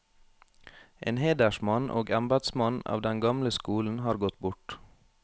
En hedersmann og embedsmann av den gamle skolen har gått bort.